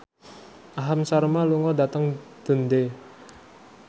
Aham Sharma lunga dhateng Dundee